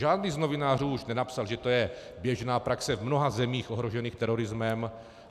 Žádný z novinářů už nenapsal, že je to běžná praxe v mnoha zemích ohrožených terorismem.